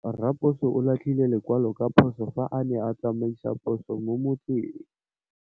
Raposo o latlhie lekwalô ka phosô fa a ne a tsamaisa poso mo motseng.